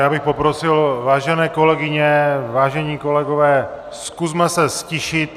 Já bych poprosil, vážené kolegyně, vážení kolegové, zkusme se ztišit!